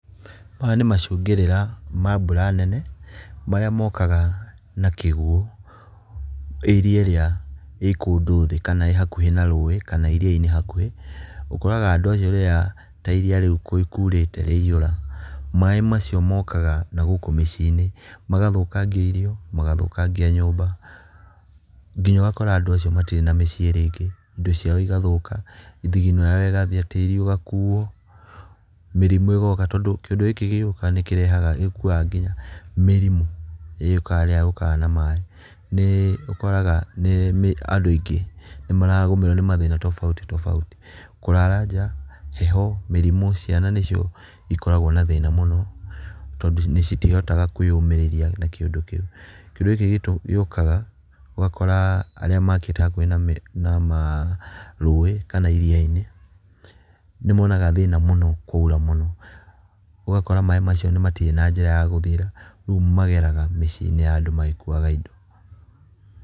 Maya nĩ macũngĩrĩra ma mbura nene marĩa mokaga na kĩguo area ĩrĩa ĩĩ kũndũ thĩ kana ĩĩ hakuhĩ na rũĩ kana iriainĩ hakuhĩ. Ũkoraga andũ acio rĩrĩa ta iria rĩu kurĩte nĩ rĩaihũra maaĩ macio mokaga na gũkũ maciĩ-inĩ magathũkangia irio, magathũkangia nyũmba, nginya ũgakora andũ acio matirĩ na maciĩ rĩngĩ, indo ciao igathũka thithino yao igathiĩ, tĩĩri ũgakuo mĩrimũ Ĩgoka tondũ kĩũndũ gĩkĩ gĩgũka nĩ kĩrehaga, nĩgĩkuaga nginya mĩrimũ ĩrĩa yũkagana na maaĩ nĩ ũkoraga nĩ andũ aingĩ nĩ makagũmĩrũo nĩ mathĩna tofauti tofauti, kũrara nja, heho, mĩrimũ. Ciana nĩ cio cikoragwo na mathĩna maingĩ mũno tondũ citihotaga kũĩyomĩrĩria na kĩũndu kĩu. Kĩũndũ kĩu gĩũkaga ũgakora arĩa makĩte hakuhĩ na rũĩ kana iriainĩ nĩmonaga thĩna mũno kwaura mũno ũgakora maaĩ macio matirĩ na njĩra ya gũthiĩra rĩu mageraga mĩciinĩ ya andũ magĩkuaga indo.